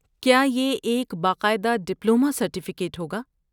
کیا یہ ایک باقاعدہ ڈپلومہ سرٹیفکیٹ ہوگا؟